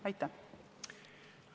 Aitäh!